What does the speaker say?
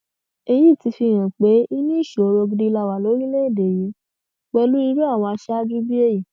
èyí ti fihàn pé inú ìṣòro gidi la wà lórílẹèdè yìí pẹlú irú àwọn aṣáájú bíi èyí